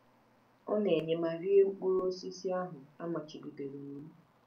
Ọ na-enye ma rie mkpụrụ osisi ahụ a machibidoro iwu.